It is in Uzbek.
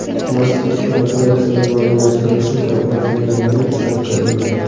Mask ushbu operatsiyalar moliyalashtirilishi kafolatlanganiga ishonch bildirgan.